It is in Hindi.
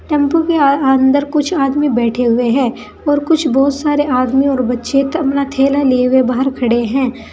टेंपो के अर अंदर कुछ आदमी बैठे हुए हैं और कुछ बहुत सारे आदमी और बच्चे अपना थैला लिए हुए बाहर खड़े हैं।